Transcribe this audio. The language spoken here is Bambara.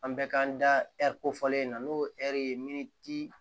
An bɛ k'an da ɛri kofɔlen in na n'o ye ɛri ye min ci